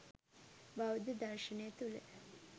බෞද්ධ දර්ශනය තුළ